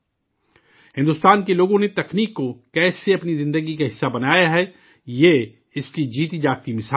ہندوستان کے لوگوں نے، ٹیکنالوجی کو کیسے اپنی زندگی کا حصہ بنایا ہے، یہ اس کی زندہ مثال ہے